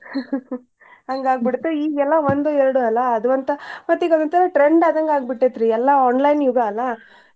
ಹಂಗಾಗ್ ಬಿಡ್ತ್ ಈಗೆಲ್ಲ ಒಂದು ಎರ್ಡ್ ಅಲ್ಲಾ ಅದೂ ಒಂತಾ ಮತ್ ಈಗ ಅದೋಂತರಾ trend ಆದಂಗ್ ಆಗ್ಬಿಟ್ಟೇತ್ರೀ ಎಲ್ಲಾ online ಯುಗ ಅಲ್ಲಾ.